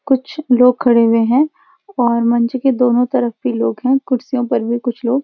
कुछ लोग खड़े हुए हैं और मंच के दोनों तरफ भी लोग हैं कुर्सियों पर भी कुछ लोग --